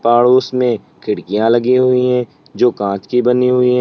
और उसमें खिड़कियां लगी हुई है जो कांच की बनी हुई है।